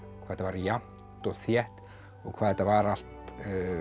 þetta var jafnt og þétt og hvað þetta var allt